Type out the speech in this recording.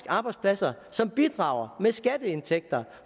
arbejdspladser som bidrager med skatteindtægter